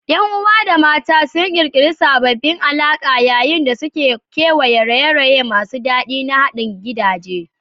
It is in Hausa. Yan uwa da mata sun ƙirƙiri sabbin alaƙa yayin da suke kewaya raye-raye masu daɗi na haɗa gidaje.